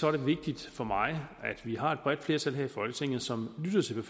er det vigtigt for mig at vi har et bredt flertal her i folketinget som lytter til